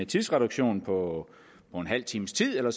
tidsreduktion på en halv times tid eller